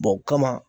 o kama